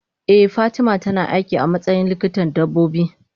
eh fatima tana aiki amatsayin likitan dabbobi.